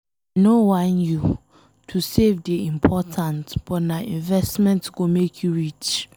I no whine you, to save dey important but nah investment go make you rich.